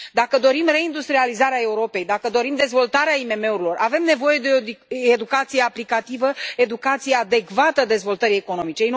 Dacă dorim reindustrializarea Europei, dacă dorim dezvoltarea IMM urilor, avem nevoie de o educație aplicativă, educație adecvată dezvoltării economice.